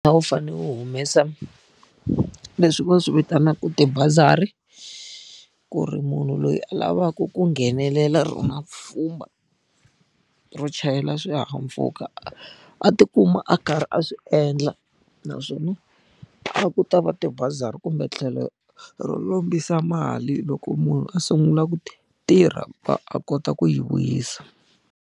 A wu fanele wu humesa leswi va swi vitanaka tibazari. Ku ri munhu loyi a lavaka ku nghenelela rona pfhumba, ro chayela swihahampfhuka a ti kuma a karhi a swi endla. Naswona a ku ta va tibazari kumbe tlhelo ro lombisa mali loko munhu a sungula ku tirha a kota ku yi vuyisa.